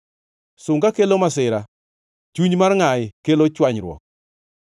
Sunga kelo masira, chuny mar ngʼayi kelo chwanyruok.